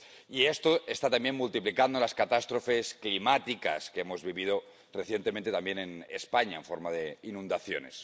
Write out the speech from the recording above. Y esto está también multiplicando las catástrofes climáticas que hemos vivido recientemente también en España, en forma de inundaciones.